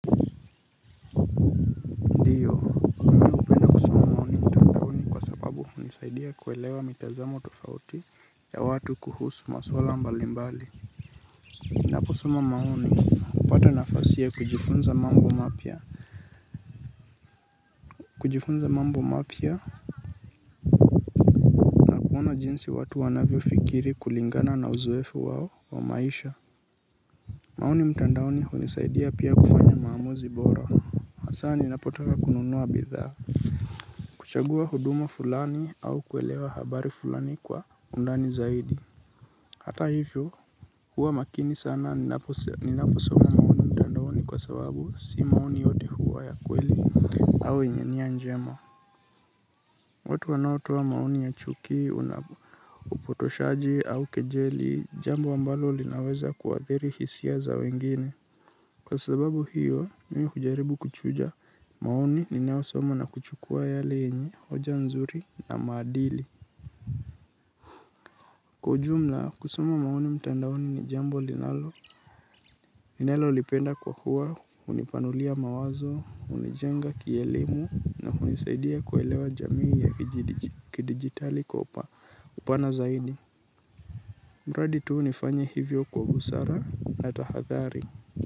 Nisaidia kuelewa mitazamo tofauti ya watu kuhusu maswala mbali mbali. Naposoma maoni. Kupata nafasia kujifunza mambo mapia. Kujifunza mambo mapia. Kuona jinsi watu wanavyo fikiri kulingana na uzwefu wao wa maisha. Maoni mtandauni hunisaidia pia kufanya maamuzi bora. Asa ninapotaka kununua bidha. Kuchagua huduma fulani au kuelewa habari fulani kwa undani zaidi. Hata hivyo huwa makini sana ninaposoma ni kwa sababu si maoni yote huwa ya kweli au yenye nia njema. Watu wanaotoa maoni ya chuki unapotoshaji au kejeli jambo ambalo linaweza kuwathiri hisia za wengine. Kwa sababu hiyo nini kujaribu kuchuja maoni ninaosoma na kuchukua yale yenye hoja nzuri na maadili. Kwa ujumla kusuma mauni mtandaoni ni jambo linalo ninalolipenda kwa hua, unipanulia mawazo, unijenga kielimu, na unisaidia kuelewa jamii ya kidigitali kupa na zaidi. Mradi tu nifanya hivyo kwa busara na tahathari.